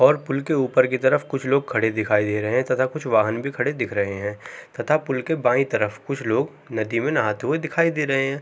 और पुल के ऊपर की तरफ कुछ लोग खड़े दिखाई दे रहे है तथा कुछ वाहन भी खड़े दिख रहे है तथा पुल्ल के बायीं तरफ कुछ लोग नदी में नहाते हुए दिख रहे है।